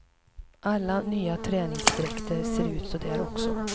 Alla nya träningsdräkter ser ut så där också.